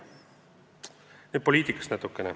Nüüd natukene poliitikast.